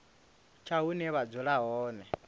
tsha hune vha dzula hone